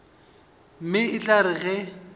mme e tla re ge